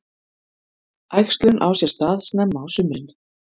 Æxlun á sér stað snemma á sumrin.